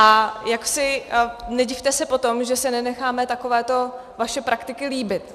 A nedivte se potom, že si nenecháme takovéto vaše praktiky líbit.